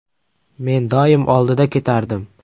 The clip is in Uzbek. Men doim oldida ketardim.